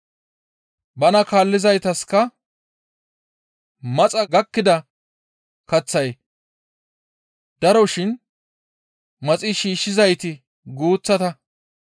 Bana kaallizaytaska, «Maxa gakkida kaththay daro shin maxi shiishshizayti guuththata.